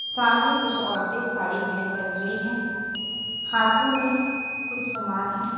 सामने कुछ औरतें साड़ी पहनकर खड़ी हैं हाथों में कुछ सामान है।